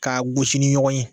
K'a gosi ni ɲɔgɔn ye